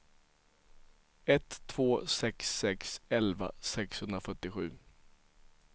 ett två sex sex elva sexhundrafyrtiosju